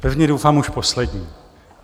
Pevně doufám už poslední.